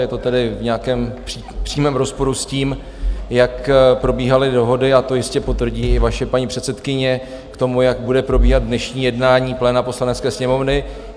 Je to tedy v nějakém přímém rozporu s tím, jak probíhaly dohody - a to jistě potvrdí i vaše paní předsedkyně - k tomu, jak bude probíhat dnešní jednání pléna Poslanecké sněmovny.